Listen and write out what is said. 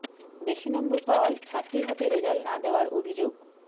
বেশি নম্বর পাওয়ায় ছাত্রীর হাতে রেজাল্ট না দেওয়ার অভিযোগ